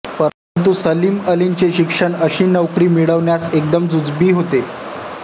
परंतु सलीम अलींचे शिक्षण अशी नोकरी मिळवण्यास एकदम जुजबी होते